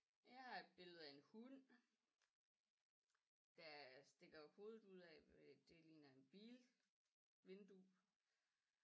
Jeg har et billede af en hund der stikker hovedet ud af det ligner en bil vindue